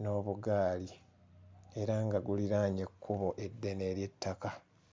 n'obugaali era nga guliraanye ekkubo eddene ery'ettaka.